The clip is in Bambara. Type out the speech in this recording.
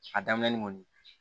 A daminɛ kɔni